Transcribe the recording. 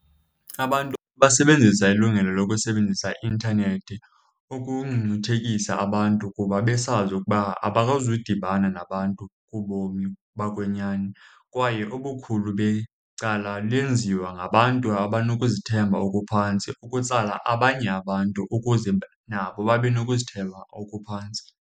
Abantu basebenzisa ilungelo lokusebenzisa i-intanethi ukungcungcuthekisa abantu kuba besazi ukuba abakazudibana nabantu kubomi bokwenyani. Kwaye ubukhulu becala lenziwa ngabantu abanokuzithemba okuphantsi ukutsala abanye abantu ukuze nabo babe nokuzithemba obuphantsi.